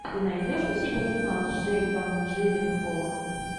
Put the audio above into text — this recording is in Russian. ты найдешь у себя кино с джейком джилленхолом